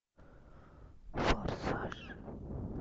форсаж